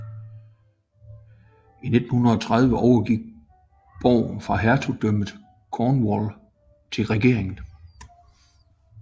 I 1930 overgik borgen fra Hertugdømmet Cornwall til regeringen